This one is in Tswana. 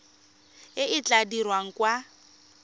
e e tla dirwang kwa